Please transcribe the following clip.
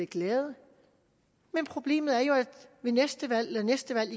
glade men problemet er jo at ved næste valg eller næste valg